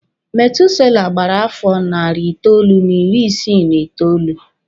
Methuselah gbara afọ nari itoolu n'iri isi n'itoolu.